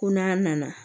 Ko n'a nana